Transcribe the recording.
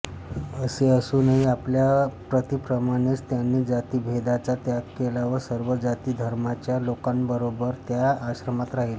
असे असूनही आपल्या पतीप्रमाणेच त्यांनी जातिभेदाचा त्याग केला व सर्व जातिधर्मांच्या लोकांबरोबर त्या आश्रमात राहिल्या